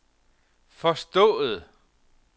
forstået